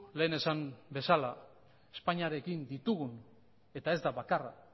lehen esan bezala espainiarekin ditugun eta ez da bakarra